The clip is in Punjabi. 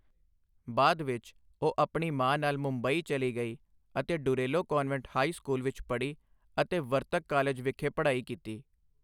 ਬਾਅਦ ਵਿੱਚ ਉਹ ਆਪਣੀ ਮਾਂ ਨਾਲ ਮੁੰਬਈ ਚਲੀ ਗਈ ਅਤੇ ਡੁਰੇਲੋ ਕਾਨਵੈਂਟ ਹਾਈ ਸਕੂਲ ਵਿੱਚ ਪੜ੍ਹੀ ਅਤੇ ਵਰਤਕ ਕਾਲਜ ਵਿਖੇ ਪੜ੍ਹਾਈ ਕੀਤੀ।